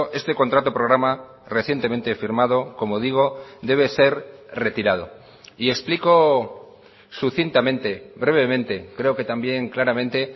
este contrato programa recientemente firmado como digo debe ser retirado y explico sucintamente brevemente creo que también claramente